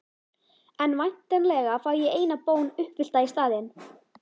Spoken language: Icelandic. En væntanlega fæ ég eina bón uppfyllta í staðinn?